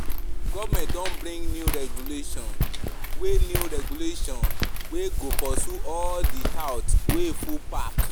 Government don bring new regulations wey new regulations wey go pursue all di touts wey full park.